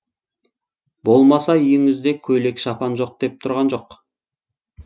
болмаса үйіңізде көйлек шапан жоқ деп тұрған жоқ